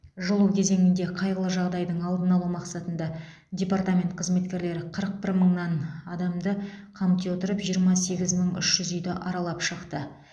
жылу кезеңінде қайғылы жағдайдың алдын алу мақсатында департамент қызметкерлері қырық бір мыңнан адамды қамти отырып жиырма сегіз мың үш жүз үйді аралап шықты